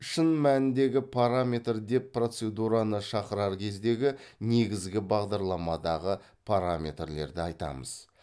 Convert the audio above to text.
шын мәніндегі параметр деп процедураны шақырар кездегі негізгі бағдарламадағы параметрлерді айтамыз